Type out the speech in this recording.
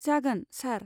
जागोन, सार।